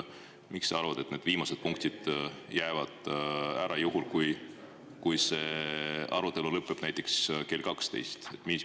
Miks sa arvad, et need viimased punktid jäävad ära, juhul kui see arutelu lõpeb näiteks kell 12?